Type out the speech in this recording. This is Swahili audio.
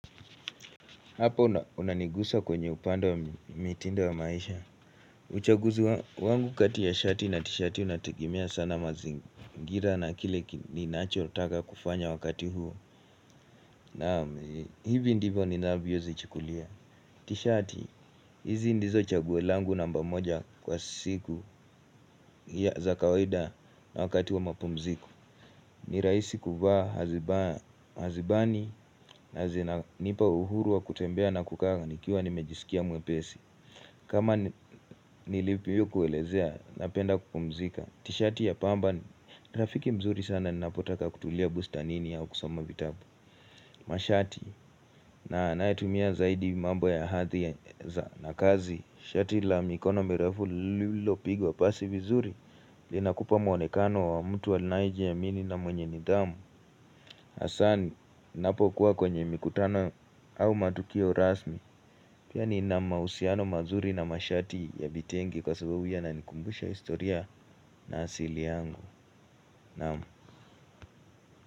Hapo unanigusa kwenye upande wa mitindo wa maisha. Uchaguzi wangu kati ya shati na tishati unategemea sana mazingira na kile ni nachotaka kufanya wakati huo. Naam hivi ndivyo ninavyozichikulia. Tishati, hizi ndizo chaguo langu namba moja kwa siku ya za kawaida na wakati wa mapumziko. Ni rahisi kuvaa hazibani na zinanipa uhuru wa kutembea na kukaa nikiwa nimejiskia mwepesi. Kama nilipivyokuelezea napenda kupumzika. Tishati ya pamba ni rafiki mzuri sana ninapotaka kutulia bustanini au kusoma vitabu. Mashati na nayotumia zaidi mambo ya hadhi za na kazi. Shati la mikono mirefu lililopigwa pasi vizuri. Linakupa mwonekano wa mtu anayejiamini na mwenye nidhamu. Hasa ni napokuwa kwenye mikutano au matukio rasmi. Pia nina mahusiano mazuri na mashati ya vitenge kwa sababu yananikumbusha historia na asili yangu. Naam.